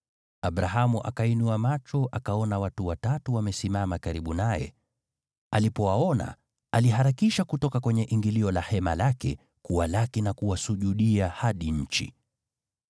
Abrahamu akainua macho akaona watu watatu wamesimama karibu naye. Alipowaona, aliharakisha kutoka kwenye ingilio la hema lake kuwalaki na kuwasujudia hadi nchi.